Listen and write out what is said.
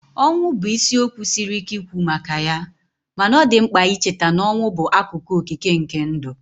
Ọnwụ bụ isiokwu siri ike ikwu maka ya, mana ọ dị mkpa icheta na ọnwụ bụ akụkụ okike nke ndụ